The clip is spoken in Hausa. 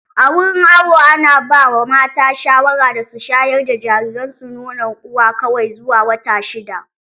A wurin awo ana ba mata shawara da su shayar da jariransu nonon uwa kawai zuwa wata shidda.